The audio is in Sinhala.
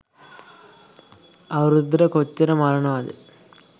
අවුරුද්දට කොච්චර මරණවද